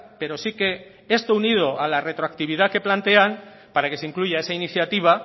pero sí que esto unido a la retroactividad que plantean para que se incluya esa iniciativa